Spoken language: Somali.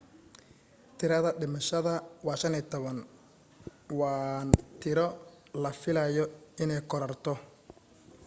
tirada dhimashada waa 15 waan tiro la filayo inee korarto